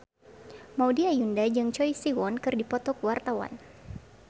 Maudy Ayunda jeung Choi Siwon keur dipoto ku wartawan